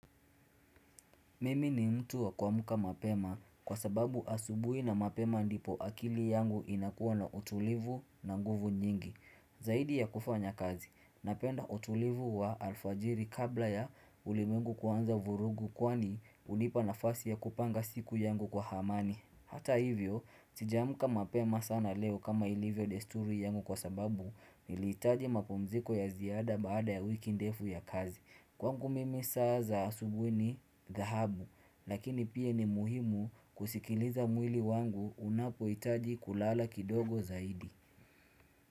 Mimi ni mtu wa kuamka mapema kwa sababu asubui na mapema ndipo akili yangu inakuwa na utulivu na nguvu nyingi. Zaidi ya kufanya kazi, napenda utulivu wa alfajiri kabla ya ulimwengu kuanza vurugu kwani unipa nafasi ya kupanga siku yangu kwa amani. Hata hivyo, sijamka mapema sana leo kama ilivyo desturi yangu kwa sababu nilihitaji mapumziko ya ziada baada ya wiki ndefu ya kazi. Kwangu mimi saa za asubui ni dhahabu, lakini pia ni muhimu kusikiliza mwili wangu unapohitaji kulala kidogo zaidi.